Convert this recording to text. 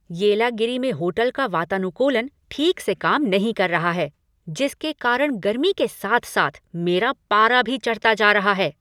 येलागिरी में होटल का वातानुकूलन ठीक से काम नहीं कर रहा है जिसके कारण गर्मी के साथ साथ मेरा पारा भी चढ़ता जा रहा है।